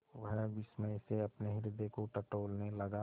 वह विस्मय से अपने हृदय को टटोलने लगा